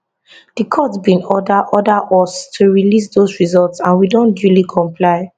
di court bin order order us to release dose results and we don duly comply